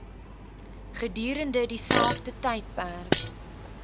gedurende dieselfde tydperk